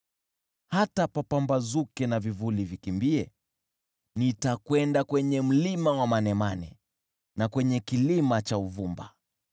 Hata kupambazuke na vivuli vikimbie, nitakwenda kwenye mlima wa manemane na kwenye kilima cha uvumba.